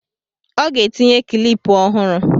ọ ga-etinye kịlịpù ọhụrụ